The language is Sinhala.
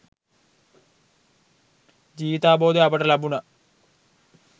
ජීවිතාවබෝධය අපට ලැබුනා.